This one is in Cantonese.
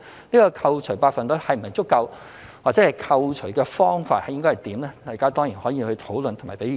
這個扣除百分率是否足夠或扣除的方法應該如何，大家當然可以討論和給意見。